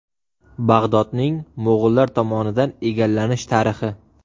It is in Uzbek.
Bag‘dodning mo‘g‘ullar tomonidan egallanish tarixi.